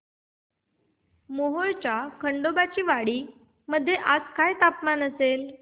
मोहोळच्या खंडोबाची वाडी मध्ये आज काय तापमान असेल